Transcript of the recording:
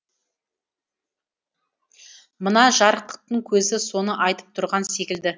мына жарықтықтың көзі соны айтып тұрған секілді